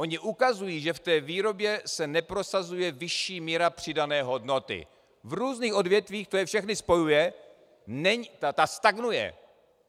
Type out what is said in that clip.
Ony ukazují, že v té výrobě se neprosazuje vyšší míra přidané hodnoty, v různých odvětvích, to je všechny spojuje, ta stagnuje.